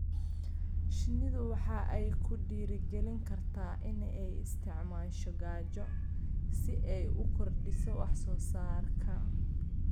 Shinnidu waxa ay ku dhiirigelin kartaa in ay isticmaasho gaajo si ay u kordhiso wax soo saarka.